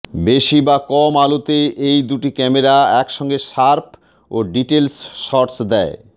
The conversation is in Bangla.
বেশি বা কম আলো তে এই দুটি ক্যামেরা একসঙ্গে শার্প ও ডিটেলস শটস দেয়